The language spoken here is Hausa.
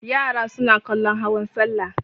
Yara suna kallon hawan salla.